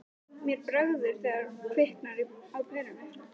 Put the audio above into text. Mér bregður þegar kviknar á perunni